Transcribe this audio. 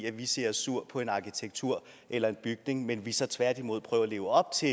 af at vi ser os sure på en arkitektur eller bygning men at vi så tværtimod prøver at leve op til